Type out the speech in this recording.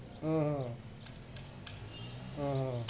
হম উহ হম